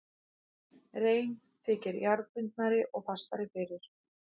Rein þykir jarðbundnari og fastari fyrir.